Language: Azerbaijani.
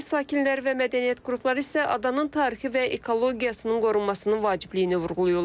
Yerli sakinlər və mədəniyyət qrupları isə adanın tarixi və ekologiyasının qorunmasının vacibliyini vurğulayırlar.